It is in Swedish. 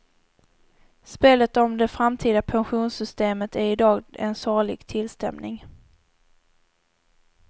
Spelet om det framtida pensionssystemet är i dag en sorglig tillställning.